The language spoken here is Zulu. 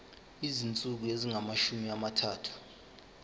izinsuku ezingamashumi amathathu